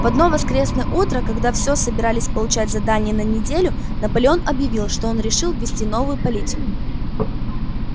в одно воскресное утро когда всё собирались получать задания на неделю наполеон объявил что он решил ввести новую политику